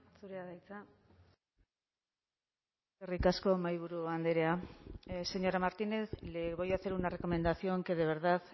zurea da hitza eskerrik asko mahaiburu andrea señora martínez le voy a hacer una recomendación que de verdad